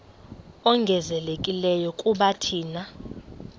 ongezelelekileyo kuba thina